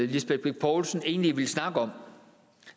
lisbeth bech poulsen egentlig ville snakke om